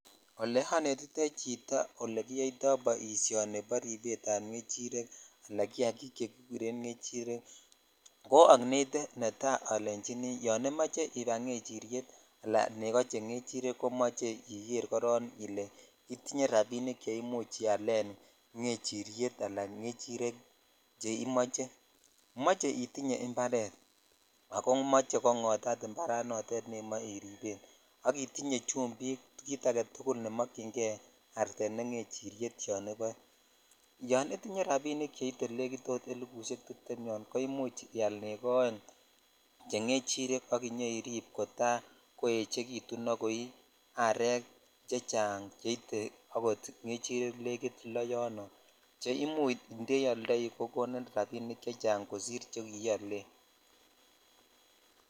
Ole onetitoi chito ole boishoni bo ribet ab ngechirek al kiakik che kikuren ngechirrk ko onete netaiolechini yo imoche ibai ngechiryet ala nego che ngerirek komoche iker koron ile itinye rabik che ialen ngechuryet al ngechirek che imoche moche itinye imparet ako moche kongotat impar noton nemoe iripen ak itinye chumbik ak kit aketukul ne mokyin kei artet ne ngechiryet yon iboe yon itiny rabik cheite ot nekit elibushej tiptem yon ko imuch ial nego oenge che ngechirek ak inyoirip kota koechekitun ak koi arek chechang cheite akot ngechirek loo yono che imuch indeioldo ko konin rabinik chechang che sire chekiolen.